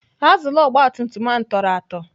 Azụlụ ogbatumtum ahụ tọrọ atọ.